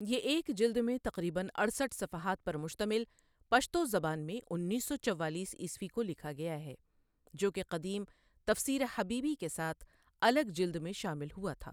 یہ ایک جلد میں تقریباً اڑسٹھ صفحات پرمشتمل پشتو زبان میں انیس سو چوالیس عیسوی کو لکھا گیا ہے جو کہ قدیم تفسیر حبیبی کے ساتھ الگ جلد میں شامل ہوتا تھا